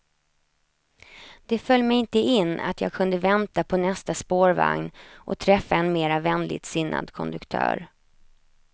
Det föll mig inte in att jag kunde vänta på nästa spårvagn och träffa en mera vänligt sinnad konduktör.